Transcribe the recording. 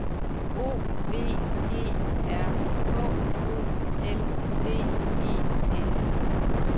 O V E R H O L D E S